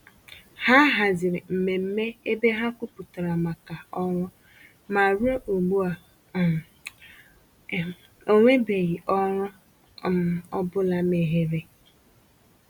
Ha haziri mmemme ebe ha kwupụtara màkà ọrụ, ma ruo ugbu um a, um enwebeghị ọrụ um ọ bụla meghere.